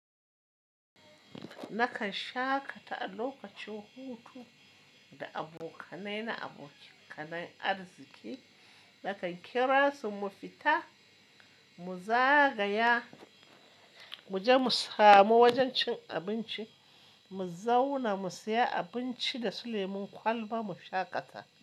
Nakan shaƙata a lokacin hutu da abokanai na abokanan arziƙi. Nakan kira su mu fita mu zagaya, muje mu samu wajen cin abinci, mu zauna mu siya abinci da su lemun kwalba mu shaƙata.